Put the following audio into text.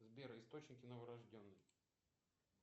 сбер источники новорожденных